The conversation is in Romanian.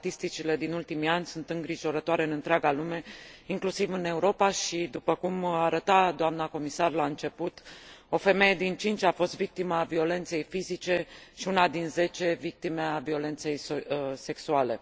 Statisticile din ultimii ani sunt îngrijorătoare în întreaga lume, inclusiv în Europa, și, după cum arăta doamna comisar la început, o femeie din cinci a fost victima violenței fizice și una din zece victima violenței sexuale.